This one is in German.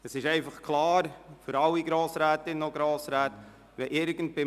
Es ist allen Grossrätinnen und Grossräten klar: